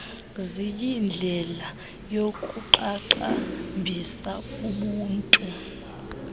ziyindlela yokuqaqambisa ubunto